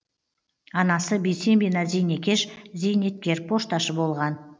анасы бейсембина зейнекеш зейнеткер пошташы болған